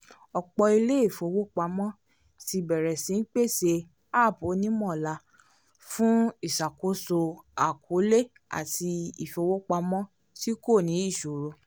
ọ̀pọ̀ ilé ìfowópamọ́ ti bẹ̀rẹ̀ sí í pèsè app onímọ̀ọ́là fun iṣàkóso àkọọ́lẹ̀ àti ìfowópamọ́ tí kò ní ìṣòro